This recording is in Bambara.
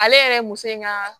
Ale yɛrɛ muso in ka